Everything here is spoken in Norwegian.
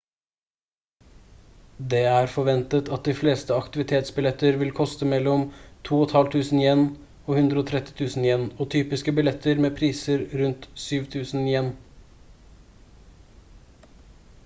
det er forventet at de fleste aktivitetsbilletter vil koste mellom ¥2500 og ¥130 000 og typiske billetter med priser rundt ¥7000